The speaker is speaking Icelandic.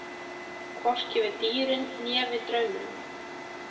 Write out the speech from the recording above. Hvorki við dýrin né við drauminn.